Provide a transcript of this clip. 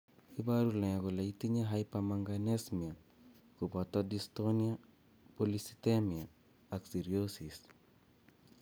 iporu ne kole itinye Hypermanganesemia kopoto dystonia polycythemia ak cirrhosis?